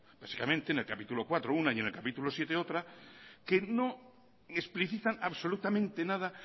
básicamente en el capítulo cuarto una y en el capítulo séptimo otra que no explicitan absolutamente nada